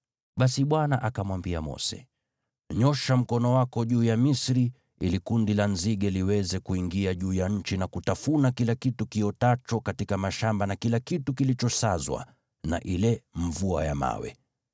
Basi Bwana akamwambia Mose, “Nyoosha mkono wako juu ya Misri ili kundi la nzige liweze kuingia juu ya nchi na kutafuna kila kitu kiotacho katika mashamba na kila kitu kilichosazwa na ile mvua ya mawe.”